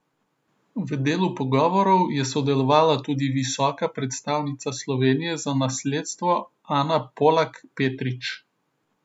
V delu pogovorov je sodelovala tudi visoka predstavnica Slovenije za nasledstvo Ana Polak Petrič.